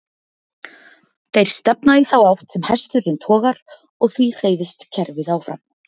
Þeir stefna í þá átt sem hesturinn togar og því hreyfist kerfið áfram.